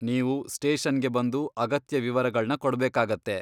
ನೀವು ಸ್ಟೇಷನ್ಗೆ ಬಂದು ಅಗತ್ಯ ವಿವರಗಳ್ನ ಕೊಡ್ಬೇಕಾಗತ್ತೆ.